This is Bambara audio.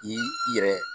I i yɛrɛ